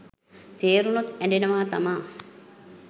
තේරුණොත් ඇඬෙනවා තමා.